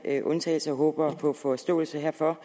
en undtagelse og håber på forståelse herfor